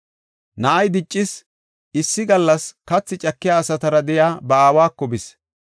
Na7ay diccis; issi gallas katha cakiya asatara de7iya ba aawako bis.